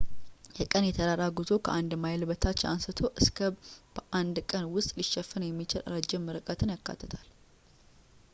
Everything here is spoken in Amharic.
የቀን የተራራ ጉዞ ከአንድ ማይል በታች አንስቶ እስከ በአንድ ቀን ውስጥ ሊሸፈን የሚችል ረዥም ርቀትን ያካትታል